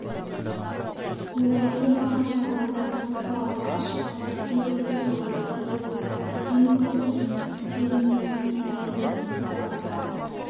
олай болмаған жағдайда тоқырауға ұшырап бірте-бірте жойылып кетуі әбден мүмкін кеңестік кезеңде осы мәселе екі бағытта